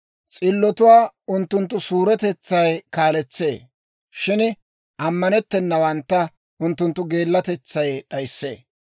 S'illotuwaa unttunttu suuretetsay kaaletsee; shin ammanettennawantta unttunttu geellatetsay d'ayissee.